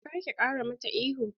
Kar ki ƙara mata ihu!